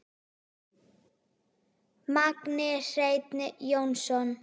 Magni Hreinn Jónsson